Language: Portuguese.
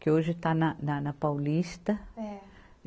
Que hoje está na, na Paulista. É.